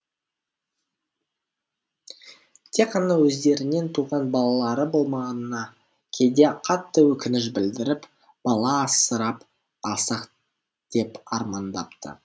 тек қана өздерінен туған балалары болмағанына кейде қатты өкініш білдіріп бала асырап алсақ деп армандапты